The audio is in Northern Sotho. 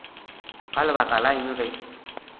ka lebaka la eng ge